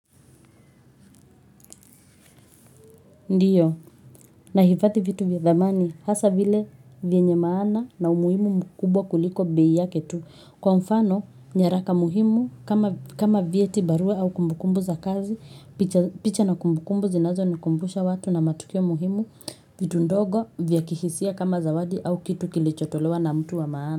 Ndiyo, nahifadhi vitu vya thamani, hasa vile vyenye maana na umuhimu mkubwa kuliko bei yake tu. Kwa mfano, nyaraka muhimu kama vyeti barua au kumbukumbu za kazi, picha na kumbukumbu zinazonikumbusha watu na matukio muhimu, vitu ndogo vya kihisia kama zawadi au kitu kilichotolewa na mtu wa maana.